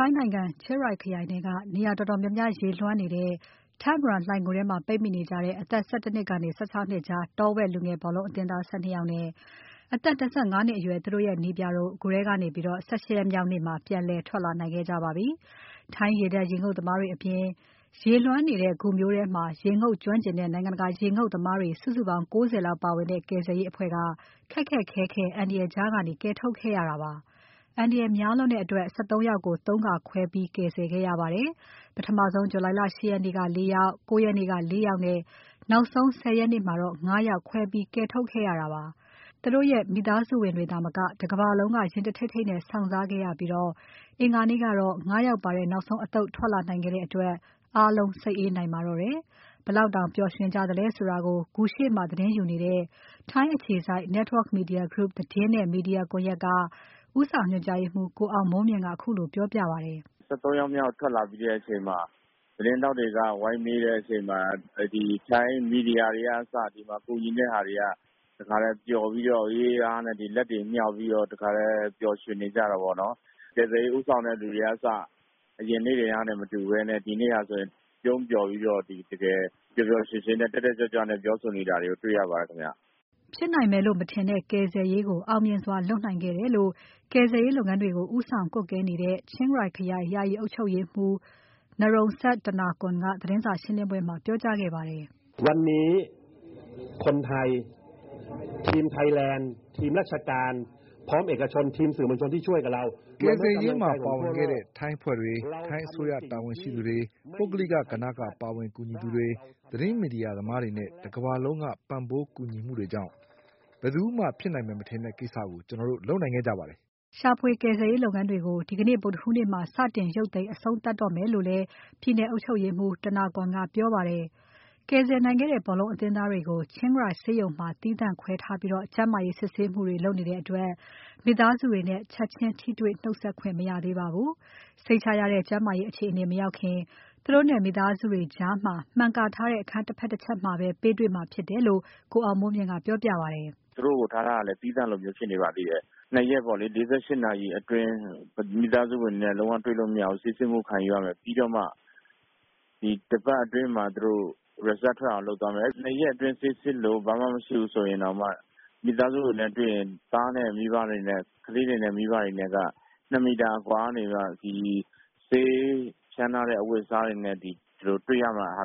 ိုင်းနိုင်ငံ ချင်းရိုင်ခရိုင်ထဲက နေရာတော်တော်များများ ရေလွှမ်းနေတဲ့ Tham Luang လှိုဏ်ဂူထဲမှာ ပိတ်မိနေကြတဲ့ အသက် ၁၁ နှစ်ကနေ ၁၆ နှစ်ကြား တောဝက်လူငယ်ဘောလုံးအသင်းသား ၁၂ ယောက်နဲ့ အသက် ၂၅ နှစ်အရွယ် သူတို့ရဲ့နည်းပြတို့ ဂူထဲကနေ ၁၈ ရက်မြောက်နေ့မှာ ပြန်လည်ထွက်လာနိုင်ခဲ့ကြပါပြီ။ ထိုင်းရေတပ်ရေငုပ်သမားတွေအပြင် ရေလွှမ်းနေတဲ့ဂူမျိုးထဲမှာ ရေငုပ်ကျွမ်းကျင်တဲ့ နိုင်ငံတကာက ရေငုပ်သမားတွေ စုစုပေါင်း ၉၀ လောက်ပါဝင်တဲ့ ကယ်ဆယ်ရေးအဖွဲ့က ခက်ခက်ခဲခဲ အန္တရာယ်ကြားကနေ ကယ်ထုတ်ခဲ့ရတာပါ။ အန္တရာယ်များလွန်းတဲ့အတွက် ၁၃ ယောက်ကို ၃ ခါခွဲပြီး ကယ်ဆယ်ခဲ့ရပါတယ်။ ပထမဆုံး July လ ဂ ရက်နေ့က ၄ ယောက်။ ၉ ရက်နေ့က ၄ ယောက်နဲ့ နောက်ဆုံး ၁၀ ရက်နေ့မှာ ၅ ယောက် ခွဲပြီး ကယ်ထုတ်ခဲ့ရတာပါ။ သူတို့ရဲ့ မိသားစုဝင်တွေသာမက တကမ္ဘာလုံးက ရင်တထိတ်ထိတ်နဲ့ စောင့်စားခဲ့ရပြီး အင်္ဂါနေ့ကတော့ ၅ ယောက်ပါတဲ့ နောက်ဆုံးအသုတ်ထွက်လာနိုင်ခဲ့တဲ့အတွက် အားလုံး စိတ်အေးနိုင်ပါတော့တယ်။ အားလုံး ဘယ်လောက်တောင် ပျော်ရွှင်ကြသလဲဆိုတာကို ဂူရှေ့မှာသတင်းယူနေတဲ့ ထိုင်းအခြေစိုက် Network Media Group သတင်းနဲ့မီဒီယာကွန်ယက်က ဦးဆောင်ညွှန်ကြားရေးမှူး ကိုအောင်မိုးမြင့်က ခုလိုပြောပြပါတယ်။ “ ၁၃ ယောက်မြောက်ထွက်လာပြီးတဲ့အချိန်မှာ သတင်းထောက်တွေက ဝိုင်းမေးတဲ့အချိန်မှာ ဒီထိုင်းမီဒီယာတွေကအစ ၊ ဒီမှာ ကူညီနေတဲ့လူတွေကအစ၊ ပျော်ပြီးတော့ လက်တွေ ဘာတွေမြှောက်ပြီးတော့ တခါတည်းပျော်ရွှင်နေကြတာပေါ့နော်။ ကယ်ဆယ်ရေးဦးဆောင်တဲ့လူတွေကအစ အရင်နေ့တွေကနဲ့ မတူပဲနဲ့ ဒီနေ့ဆိုရင် ပြုံးပျော်ပြီးတော့ ပျော်ပျော်ရွှင်ရွှင်နဲ့ တက်တက်ကြွကြွနဲ့ ဖြစ်နေတာကို တွေ့ရပါတယ်ခင်ဗျ။” ဖြစ်နိုင်မယ်လို့ မထင်တဲ့ ကယ်ဆယ်ရေးကို အောင်မြင်စွာလုပ်နိုင်ခဲ့တယ်လို့ ကယ်ဆယ်ရေးလုပ်ငန်းတွေကို ဦးဆောင်ကွပ်ကဲနေတဲ့ ချင်းရိုင်ခရိုင် ယာယီအုပ်ချုပ်ရေးမှူး Narongsak Osatanakorn ကသတင်းစာရှင်းပွဲမှာ ပြောကြားခဲ့ပါတယ်။ “ကယ်ဆယ်ရေးမှာ ပါဝင်ခဲ့တဲ့ ထိုင်းအဖွဲ့တွေ။ ထိုင်းအစိုးရတာဝန်ရှိသူတွေ။ ပုဂ္ဂလိက ကဏ္ဍကပါဝင်ကူညီသူတွေ။ သတင်းမီဒီယာသမားတွေနဲ့ တကမ္ဘာလုံးက ပံ့ပိုးကူညီမှုတွေကြောင့် ဘယ်သူမှ ဖြစ်နိုင်မယ်မထင်တဲ့ ကိစ္စကိုကျွန်တော်တို့ လုပ်နိုင်ခဲ့ကြပါတယ်။” ရှာဖွေကယ်ဆယ်ရေးလုပ်ငန်းတွေကို ဒီနေ့ ဗုဒ္ဓဟူးနေ့မှာ စတင် ရုတ်သိမ်းအဆုံးသတ် တော့မယ်လို့လည်း ပြည်နယ်အုပ်ချုပ်ရေးမှူး Osatanakorn က ပြောပါတယ်။ ကယ်ဆယ်နိုင်ခဲ့တဲ့ ဘောလုံးအသင်းသားတွေကိုတော့ ချင်းရိုင်ဆေးရုံမှာ သီးသန့်ခွဲထားပြီး ကျန်းမာရေးစစ်ဆေးမှုတွေ လုပ်နေတဲ့အတွက် မိသားစုတွေနဲ့ ချက်ချင်း ထိတွေ့နှုတ်ဆက်ခွင့်မရသေးပါဘူး။ စိတ်ချရတဲ့ ကျန်းမာရေးအခြေအနေ မရောက်ခင် သူတို့နဲ့ မိသားစုတွေကြား မှန်ကာထားတဲ့ အခန်းတဖက် တချက်မှာပဲ ပေးတွေ့မှာဖြစ်တယ်လို့ ကိုအောင်မိုးမြင့်က ပြောပြပါတယ်။ “သူတို့ကိုထားထားတာကလည်း သီးသန့်လိုမျိုးဖြစ်နေပါသေးတယ်။ ၂ ရက် ၄၈ နာရီအတွင်းလုံးဝတွေ့လို့မရဘူး ၊ ဆေးကုသမှုခံယူရမယ် ပြီးတော့မှ တပတ်အတွင်းမှာ Result ထွက်အောင်လုပ်သွားမယ် ၂ ရက်အတွင်းဆေးစစ်လို့ ဘာမှမဖြစ်ဘူးဆိုရင် တောင်မှ မိသားစုတွေနဲ့တွေ့ရင် ကလေးနဲ့ မိဘတွေနဲ့က ၂ မီတာအကွာကနေ ဆေးဖြန်းထားတဲ့ အဝတ်အစားတွေနဲ့ တွေ့ရမယ့်ဟာ